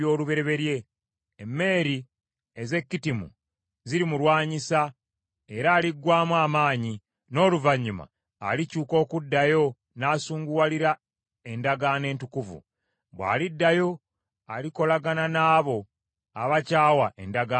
Emmeeri ez’e Kittimu zirimulwanyisa era aliggwaamu amaanyi, n’oluvannyuma alikyuka okuddayo n’asunguwalira endagaano entukuvu. Bw’aliddayo alikolagana n’abo abakyawa endagaano entukuvu.